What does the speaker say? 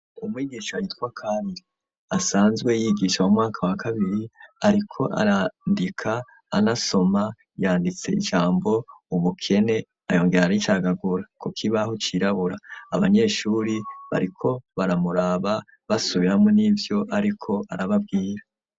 Umwigisha yitwa Kandi asanzwe yigisha mu mwaka wa kabiri ariko arandika anasoma, yanditse ijambo ubukene arongera araricagagura ku kibaho cirabura abanyeshure bariko baramuraba basubiramwo n'ivyo ariko arababwira.